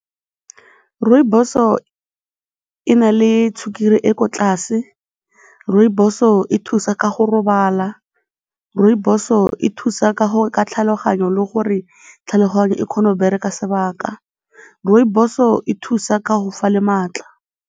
Rooibos-o e na le sukiri e ko tlase, rooibos-o e thusa ka go robala, rooibos-o e thusa ka tlhaloganyo le gore tlhaloganyo e kgone go bereka sebaka, rooibos-o e thusa ka go fa le maatla.